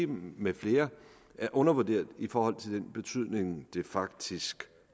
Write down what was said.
med flere er undervurderet i forhold til den betydning det faktisk